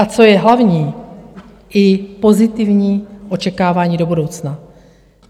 A co je hlavní, i pozitivní očekávání do budoucna.